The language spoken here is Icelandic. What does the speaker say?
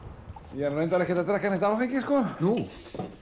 ég er nú reyndar ekkert að drekka neitt áfengi sko nú